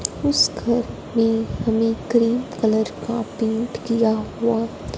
उस घर मे हमे क्रीम कलर का पेंट किया हुआ।